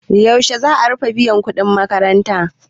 Yaushe za a rufe biyan kuɗin makaranta?